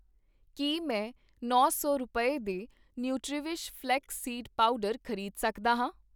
ਕੀ ਮੈਂ ਨੌ ਸੌ ਰੁਪਏ, ਦੇ ਨੂੰਟਰੀਵਿਸ਼ ਫ਼ਲੈਕਸ ਸੀਡ ਪਾਊਡਰ ਖ਼ਰੀਦ ਸਕਦਾ ਹਾਂ?